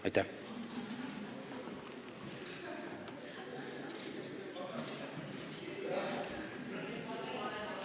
Aitäh!